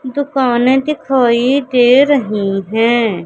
दुकान दिखाई दे रहीं हैं।